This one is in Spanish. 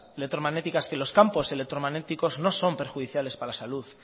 electromagnéticas que los campos electromagnéticos no son perjudiciales para la salud